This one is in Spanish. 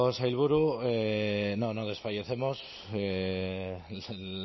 sailburu no no desfallecemos el